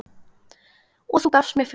Og þú gafst mér frið.